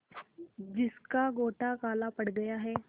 जिसका गोटा काला पड़ गया है